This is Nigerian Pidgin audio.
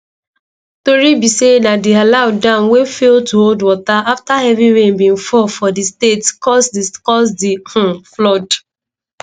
tori be say na di alau dam wey fail to hold water afta heavy rain bin fall for di state cause di cause di um flood